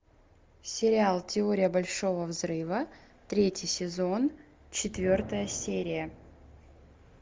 сериал теория большого взрыва третий сезон четвертая серия